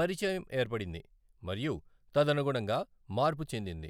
పరిచయం ఏర్పడింది మరియు తదనుగుణంగా మార్పు చెందింది.